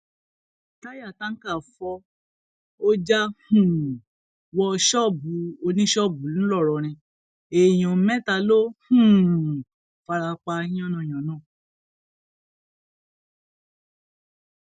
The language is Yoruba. táyà táǹkà fọ ọ já um wọ ṣọọbù oníṣọọbù ńlọrọrìn èèyàn mẹta ló um fara pa yánnayànna